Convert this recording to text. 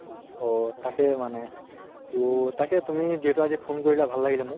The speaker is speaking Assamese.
অহ তাকে মানে তহ তাকে তুমি যিহেতু আজি phone কৰিলা, ভাল লাগিলে মোক